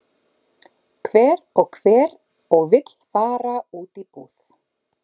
Hver og hver og vill fara út í búð?